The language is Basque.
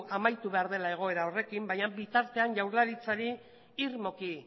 amaitu behar dela egoera horrekin baina bitartean jaurlaritzarik irmoki